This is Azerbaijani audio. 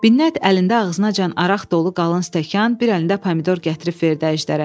Binnət əlində ağzınacan araq dolu qalın stəkan, bir əlində pomidor gətirib verdi əjdərə.